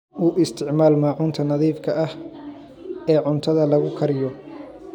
U isticmaal maacuunta nadiifka ah ee cuntada lagu kariyo.